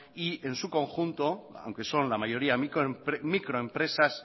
y en su conjunto aunque son la mayoría microempresas